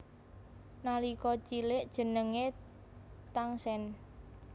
Nalika cilik jenengé Tangsen